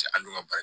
Cɛ an dun ka baara